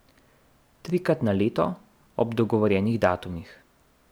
Trikrat na leto, ob dogovorjenih datumih.